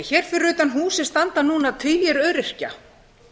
hér fyrir utan húsið standa núna tugir öryrkja